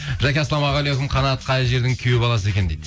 жаке ассалаумағалейкум қанат қай жердің күйеу баласы екен дейді